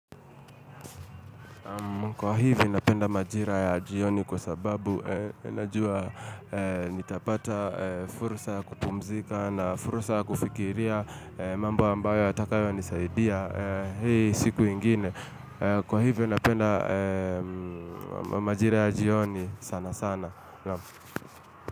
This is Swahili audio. Kwa hivyo napenda majira ya jioni kwa sababu, najua nitapata fursa kupumzika na fursa kufikiria mambo ambayo yatakayo nisaidia. Hei siku ingine. Kwa hivyo napenda majira ya jioni sana sana.